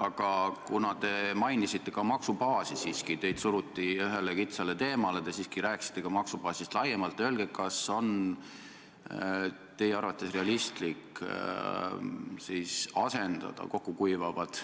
Aga kuna te mainisite ka maksubaasi – teid küll suruti ühele kitsale teemale, aga te siiski rääkisite ka maksubaasist laiemalt –, siis öelge, kas on teie arvates realistlik asendada kokkukuivavad